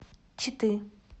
читы